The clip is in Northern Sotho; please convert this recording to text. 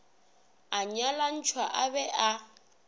a nyalantšhwa a be a